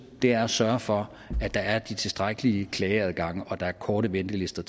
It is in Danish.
er at sørge for at der er de tilstrækkelige klageadgange og at der er korte ventelister